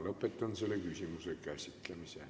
Lõpetan selle küsimuse käsitlemise.